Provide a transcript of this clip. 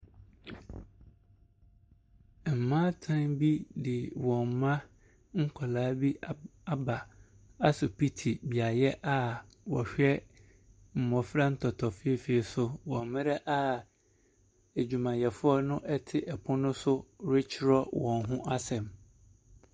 Mmatan bi de wɔn mma nkwadaa bi ab aba asopiti beaeɛ a wɔhwɛ mmɔfra ntɔtɔfeefee so wɔ mmerɛ a adwumayɛfoɔ no te ɔpono no so retwerɛ wɔn ho asɛm.